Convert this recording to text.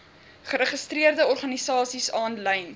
geregistreerde organisasies aanlyn